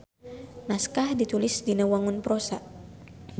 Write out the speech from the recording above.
Naskah ditulis dina wangun prosa.